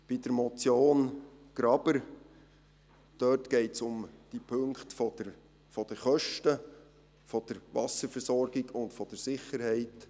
Bei der Motion Graber geht es um die Punkte Kosten, Wasserversorgung und Sicherheit.